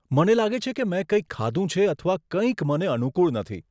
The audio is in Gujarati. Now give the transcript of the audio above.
મને લાગે છે કે મેં કંઈક ખાધું છે અથવા કંઈક મને અનુકૂળ નથી.